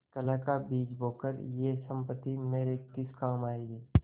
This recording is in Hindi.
कलह का बीज बोकर यह सम्पत्ति मेरे किस काम आयेगी